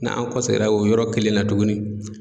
N'an kɔ seginna o yɔrɔ kelen na tugunni.